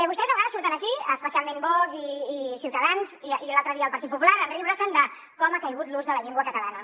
vostès a vegades surten aquí especialment vox i ciutadans i l’altre dia el partit popular a riure’s de com ha caigut l’ús de la llengua catalana